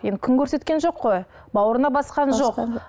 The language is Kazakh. енді күн көрсеткен жоқ қой бауырына басқан жоқ жоқ